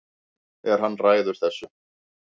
En hann ræður þessu